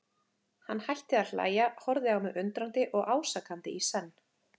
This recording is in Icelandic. Hann hætti að hlæja, horfði á mig undrandi og ásakandi í senn.